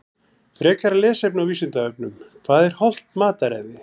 Frekara lesefni á Vísindavefnum Hvað er hollt mataræði?